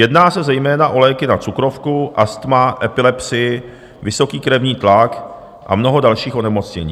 Jedná se zejména o léky na cukrovku, astma, epilepsii, vysoký krevní tlak a mnoho dalších onemocnění.